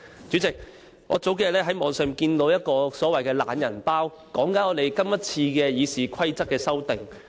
主席，數天前，我從網上看到一個所謂的"懶人包"，內部關於今次《議事規則》的修訂。